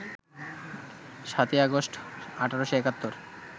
৭ই আগস্ট, ১৮৭১